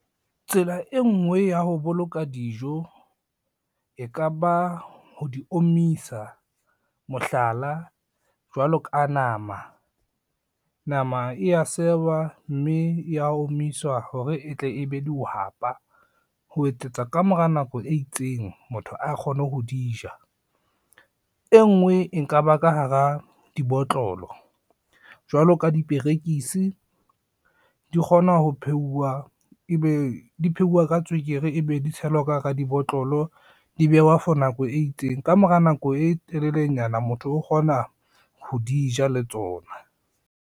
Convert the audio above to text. Tsela e ngwe ya ho boloka dijo, e kaba ho di omisa, mohlala jwalo ka nama, nama e ya sewa, mme ya omiswa hore e tle e be dihwapa ho etsetsa ka mora nako e itseng motho a kgone ho di ja. E ngwe e nka ba ka hara dibotlolo jwalo ka diperekisi di kgone ho pheuwa, ebe di pheuwa ka tswekere, e be di tshelwa ka hara dibotlolo, di behwa for nako e itseng, ka mora nako e telelenyana motho o kgona ho di ja le tsona.